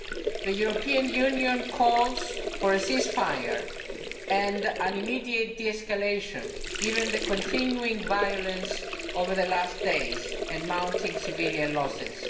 The European Union calls for a ceasefire and an immediate de escalation, given the continuing violence over the last few days and mounting civilian losses.